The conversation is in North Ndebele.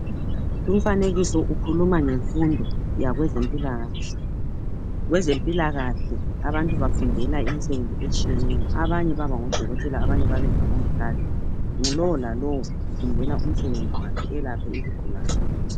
Umfanekiso ukhuluma ngemfundo yabezempilakahle. Ngezempilakahle abantu bafundela imsebenzi etshiyeneyo abanye baba ngodokotela abanye babe ngomongikazi lalolalo ufundela umsebenzi wakhe elaphe izigulane.